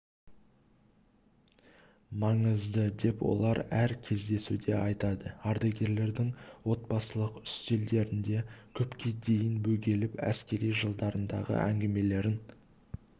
маңызды деп олар әр кездесуде айтады ардагерлердің отбасылық үстелдерінде көпке дейін бөгеліп әскери жылдарындағы әңгімелерін